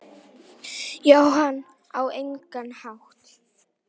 Jóhann: Á engan hátt?